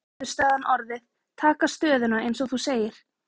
Edda: Hver gæti niðurstaðan orðið, taka stöðuna eins og þú segir?